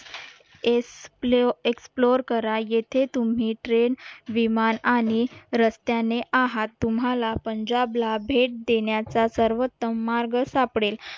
S प्ले explore करा येथे तुम्ही ट्रेन विमान आणि रस्त्याने आहात तुम्हाला पंजाबला भेट देण्याचा सर्वोत्तम मार्ग सापडेल